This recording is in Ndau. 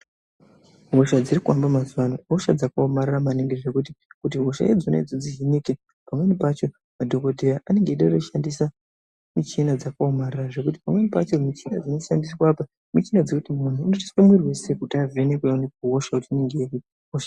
Hosha dziri kuhamba mazuva anoihosha dzakaomarara maningi zvekuti kuti hosha idzona kuti dzihinike pamweni pacho madhokodheya ange aeda kushandisa michhina dzakaomarara pamweni pacho mishina dzinoshandiswa apa muchina dzekuti muntu unotoiswa muviri weshe kuti avhenekwe kutiaone kuti hosha inenge iripo.